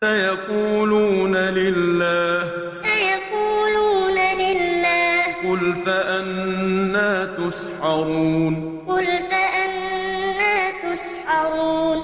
سَيَقُولُونَ لِلَّهِ ۚ قُلْ فَأَنَّىٰ تُسْحَرُونَ سَيَقُولُونَ لِلَّهِ ۚ قُلْ فَأَنَّىٰ تُسْحَرُونَ